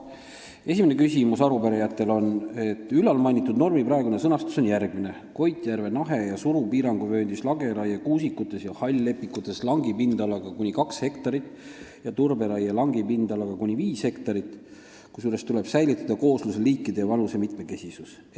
Esimene küsimus: "Ülalmainitud normi praegune sõnastus on järgmine: "Koitjärve, Nahe ja Suru piiranguvööndis lageraie kuusikutes ja hall-lepikutes langi pindalaga kuni kaks hektarit ja turberaie langi pindalaga kuni viis hektarit, kusjuures tuleb säilitada koosluse liikide ja vanuse mitmekesisus.